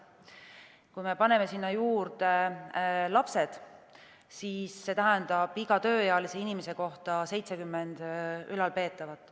Kui me paneme sinna juurde lapsed, siis see tähendab, et iga tööealise inimese kohta on 70 ülalpeetavat.